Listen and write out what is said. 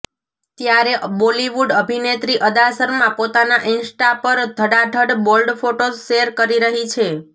ત્યારે બોલિવૂડ અભિનેત્રી અદા શર્મા પોતાના ઈન્સ્ટા પર ધડાધડ બોલ્ડ ફોટોઝ શેર કરી રહી છે